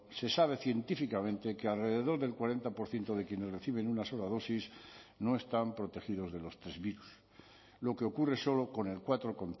se sabe científicamente que alrededor del cuarenta por ciento de quienes reciben una sola dosis no están protegidos de los tres virus lo que ocurre solo con el cuatro